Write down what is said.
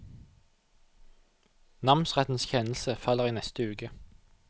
Namsrettens kjennelse faller i neste uke.